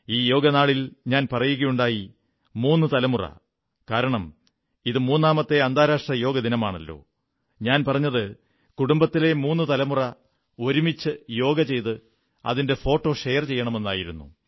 ഈ യോഗനാളിൽ ഞാൻ പറയുകയുണ്ടായി മൂന്നു തലമുറ കാരണം ഇത് മൂന്നാമത്തെ അന്താരാഷ്ട്ര യോഗ ദിനമാണല്ലോ ഞാൻ പറഞ്ഞത് കുടുംബത്തിലെ മൂന്നു തലമുറ ഒരുമിച്ച് യോഗ ചെയ്ത് അതിന്റെ ഫോട്ടോ ഷെയർ ചെയ്യണമെന്നായിരുന്നു